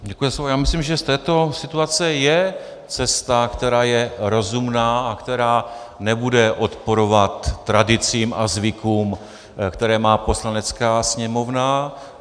Já myslím, že z této situace je cesta, která je rozumná a která nebude odporovat tradicím a zvykům, které má Poslanecká sněmovna.